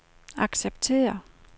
acceptere